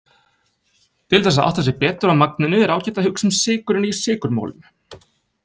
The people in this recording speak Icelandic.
Til þess að átta sig betur á magninu er ágætt að hugsa sykurinn í sykurmolum.